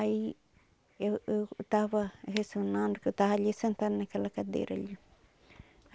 Aí eu eu tava ressonando, que eu tava ali sentada naquela cadeira ali.